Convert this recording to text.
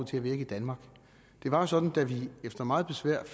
til at virke i danmark det var jo sådan at da vi efter meget besvær og